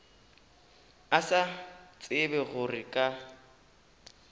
a sa tsebe gore ka